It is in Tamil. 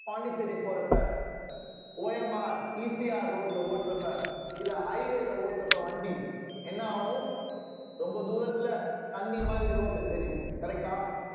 பாண்டிச்சேரி போறப்ப OMRECRroad ல ஓட்டுறப்ப இல்ல highway ல ஓட்டுறப்ப வண்டி என்ன ஆகும் ரொம்ப தூரத்துல தண்ணி மாதிரி road ல தெரியும் correct ஆ